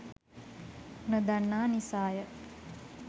නොදන්නා නිසාය.